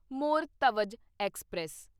Maur Dhwaj express